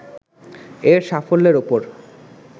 এর সাফল্যের উপর